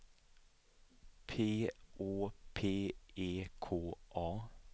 P Å P E K A